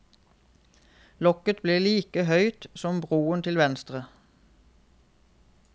Lokket blir like høyt som broen til venstre.